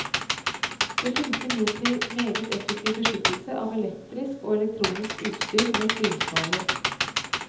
Det finnes imidlertid meget effektiv beskyttelse av elektrisk og elektronisk utstyr mot lynskader.